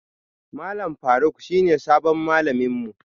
Malam Faruk shine sabon malamin mu